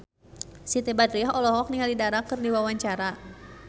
Siti Badriah olohok ningali Dara keur diwawancara